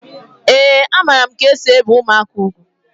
Ee a maara m ka esị ebi ụmụaka ùgwù